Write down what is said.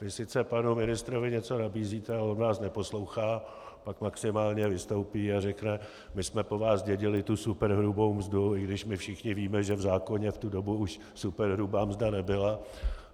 Vy sice panu ministrovi něco nabízíte, ale on vás neposlouchá, pak maximálně vystoupí a řekne "my jsme po vás zdědili tu superhrubou mzdu", i když my všichni víme, že v zákoně v tu dobu už superhrubá mzda nebyla.